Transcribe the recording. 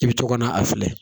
I bi to ka na a filɛ